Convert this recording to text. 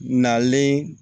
Nalen